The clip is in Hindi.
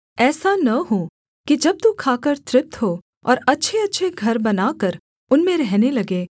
ऐसा न हो कि जब तू खाकर तृप्त हो और अच्छेअच्छे घर बनाकर उनमें रहने लगे